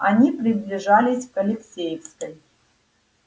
они приближались к алексеевской